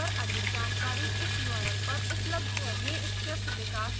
इस मिशन पर अधिक जानकरी इस url पर उपलब्ध है